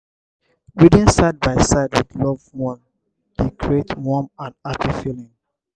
reading side by side with loved one dey create warm and happy feeling.